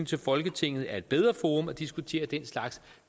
til folketinget er et bedre forum at diskutere den slags